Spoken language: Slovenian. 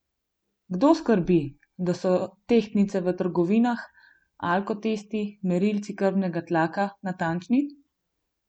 Kdo skrbi, da so tehtnice v trgovinah, alkotesti, merilci krvnega tlaka natančni?